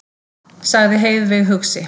sagði Heiðveig hugsi.